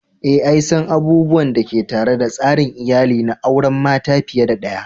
Eh,l san abubuwan da ke tare da tsarin iyali na auren mata fiye da daya.